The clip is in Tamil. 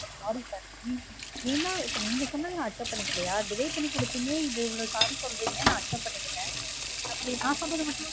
பாருங்க sir நீங் ஏனா இப்ப நீங்க சொன்னத நா accept பன்ணிக்கிலயா delay பன்ணி குடுத்தீங்க இது இவ்லொ sorry சொல்றீங்க நா accept பண்ணிகிட்டன் அப்பிடியே நா சொல்லுரதமட்டு